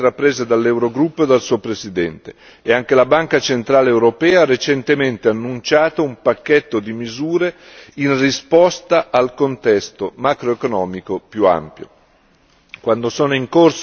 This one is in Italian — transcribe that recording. Molte iniziative sono state intraprese dall'Eurogruppo e dal suo Presidente e anche la Banca centrale europea ha recentemente annunciato un pacchetto di misure in risposta al contesto macroeconomico più ampio.